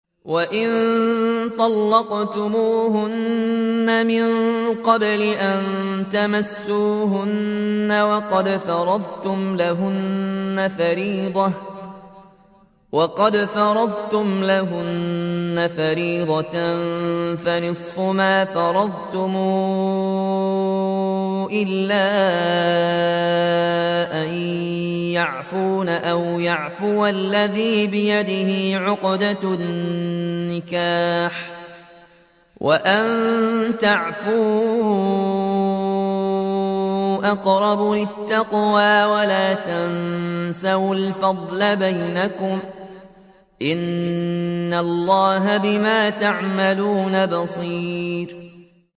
وَإِن طَلَّقْتُمُوهُنَّ مِن قَبْلِ أَن تَمَسُّوهُنَّ وَقَدْ فَرَضْتُمْ لَهُنَّ فَرِيضَةً فَنِصْفُ مَا فَرَضْتُمْ إِلَّا أَن يَعْفُونَ أَوْ يَعْفُوَ الَّذِي بِيَدِهِ عُقْدَةُ النِّكَاحِ ۚ وَأَن تَعْفُوا أَقْرَبُ لِلتَّقْوَىٰ ۚ وَلَا تَنسَوُا الْفَضْلَ بَيْنَكُمْ ۚ إِنَّ اللَّهَ بِمَا تَعْمَلُونَ بَصِيرٌ